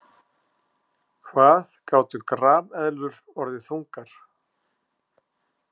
Hvað gátu grameðlur orðið þungar?